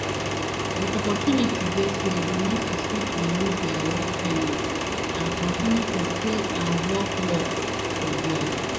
but opportunity dey say di nurses fit renew dia work permit and continue to stay and work work for dia